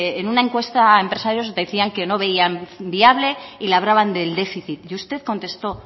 en una encuesta empresarios decían que no veían viable y le hablaban del déficit y usted contestó